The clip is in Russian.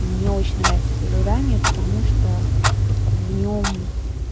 мне очень нравится это задание потому что в нём